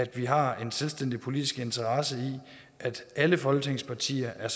vi har en selvstændig politisk interesse i at alle folketingets partier er